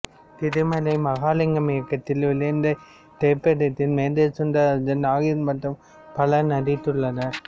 திருமலை மகாலிங்கம் இயக்கத்தில் வெளிவந்த இத்திரைப்படத்தில் மேஜர் சுந்தரராஜன் நாகேஷ் மற்றும் பலரும் நடித்துள்ளனர்